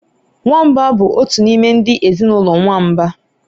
Nwamba bụ otu n'ime ndị ezinụlọ nwamba